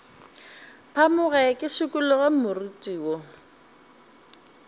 phamoge ke šikologe moriti wo